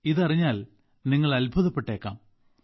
ഇതറിഞ്ഞാൽ നിങ്ങൾ അത്ഭുതപ്പെട്ടേക്കാം